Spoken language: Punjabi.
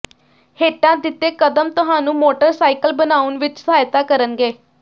ਹੇਠਾਂ ਦਿੱਤੇ ਕਦਮ ਤੁਹਾਨੂੰ ਮੋਟਰਸਾਈਕਲ ਬਣਾਉਣ ਵਿਚ ਸਹਾਇਤਾ ਕਰਨਗੇ